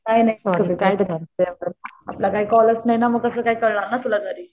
काही नाही सॉरी काय तू पण आपला काही कॉलच नाही मग कसं कळणार ना तुला तरी.